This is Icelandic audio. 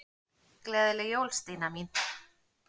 Gleðileg jól, Stína mín.